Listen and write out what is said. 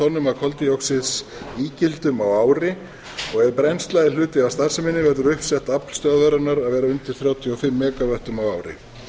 tonnum af koldíoxíðsígildum á ári og ef brennsla er hluti af starfseminni áður uppsett afl stöðvarinnar að vera undir þrjátíu og fimm mega vöttum á ári